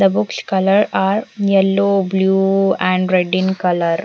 The books color are yellow blue and red in color.